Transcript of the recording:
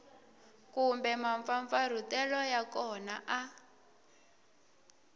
kumbe mampfampfarhutelo ya kona a